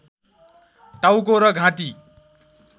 टाउको र घाँटी